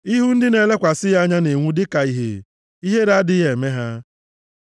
Ihu ndị na-elekwasị ya anya na-enwu dịka ihe; ihere adịghị eme ha.